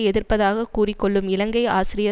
எதிர்ப்பதாக கூறிக்கொள்ளும் இலங்கை ஆசிரியர்